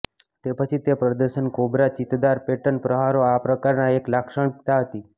તે પછી તે પ્રદર્શન કોબ્રા ચિત્તદાર પેટર્ન પ્રહારો આ પ્રકારના એક લાક્ષણિકતા હતી